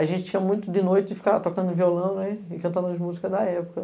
A gente tinha muito de noite e ficava tocando violão ne cantando as músicas da época.